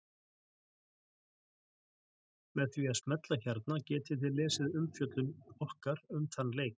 Með því að smella hérna getið þið lesið umfjöllun okkar um þann leik.